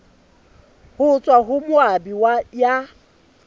ho tswa ho moabi ya